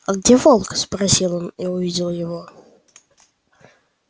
а где волк спросил он и увидел его